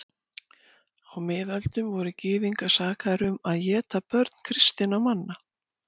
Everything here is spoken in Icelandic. Á miðöldum voru gyðingar sakaðir um að éta börn kristinna manna.